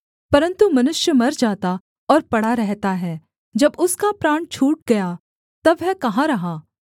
परन्तु मनुष्य मर जाता और पड़ा रहता है जब उसका प्राण छूट गया तब वह कहाँ रहा